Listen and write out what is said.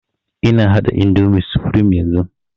Ina haɗa indomie supreme yanzun